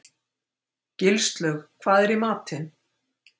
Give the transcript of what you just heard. Gilslaug, hvað er í matinn?